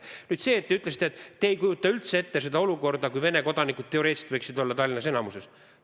Nüüd see, et te ütlesite, et te ei kujuta üldse ette olukorda, kui Vene kodanikud teoreetiliselt võiksid olla Tallinnas enamikus.